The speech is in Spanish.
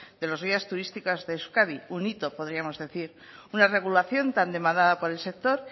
de los guías turísticas de euskadi un hito podríamos decir una regulación tan demandada por el sector